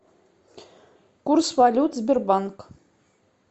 курс валют сбербанк